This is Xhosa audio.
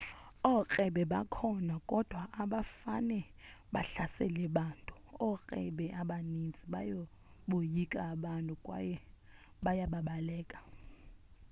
ookrebe bakhona kodwa abafane bahlasele abantu ookrebe abaninzi bayaboyika abantu kwaye bayababaleka